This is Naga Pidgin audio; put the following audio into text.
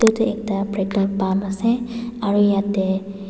etu ekta petrolpump ase aru yate.